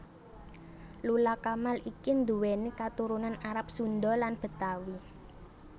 Lula Kamal iki nduwéni katurunan Arab Sunda lan Betawi